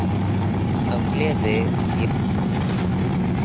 Af gleði ég bregð á skokk.